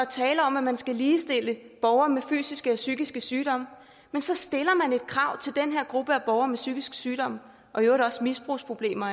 taler om at man skal ligestille borgere med fysiske og psykiske sygdomme men så stiller man et krav til den her gruppe af borgere med psykisk sygdom og i øvrigt også misbrugsproblemer